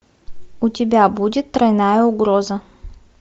у тебя будет тройная угроза